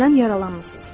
Məsələn, yaralanmısınız.